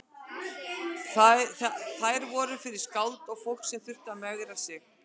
Þær voru fyrir skáld og fólk sem þurfti að megra sig.